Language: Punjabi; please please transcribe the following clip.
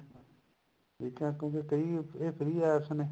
ਠੀਕ ਐ ਕਿਉਂਕਿ ਇਹ free free APPS ਨੇ